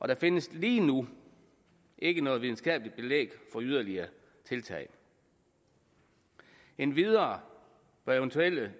der findes lige nu ikke noget videnskabeligt belæg for yderligere tiltag endvidere bør eventuelle